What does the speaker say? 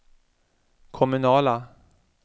kommunala